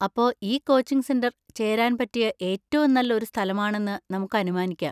അപ്പോ ഈ coaching centre ചേരാൻ പറ്റിയ ഏറ്റവും നല്ല ഒരു സ്ഥലമാണെന്ന് നമുക്ക് അനുമാനിക്കാം.